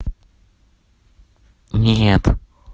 нет